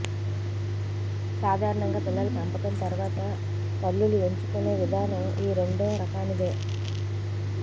సాధారణంగా పిల్లల పెంపకం తర్వాత తల్లులు ఎంచుకునే విధానం ఈ రెండో రకానిదే